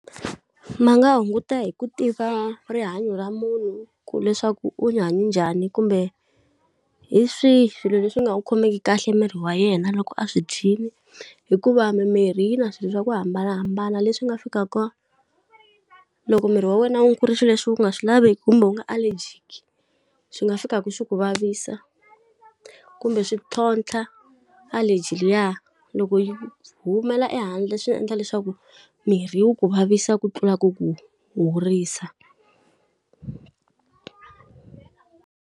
Ma nga hunguta hi ku tiva rihanyo ra munhu leswaku u hanye njhani kumbe hi swihi swilo leswi nga n'wi khomeki kahle miri wa yena loko a swi dyile hikuva mimirhi yi na swilo swa ku hambanahambana leswi nga fikaka loko miri wa wena wu ku ri swilo leswi wu nga swi laveki, kumbe wu nga allergic swi nga fikaka swi ku vavisa. Kumbe swi ntlhontlha allergy liya, loko yi humela ehandle swi endla leswaku mirhi yi ku vavisa ku tlula ku ku horisa.